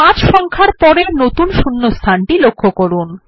৫ সংখ্যার পরের নতুন শূন্যস্থান টি লক্ষ্য করুন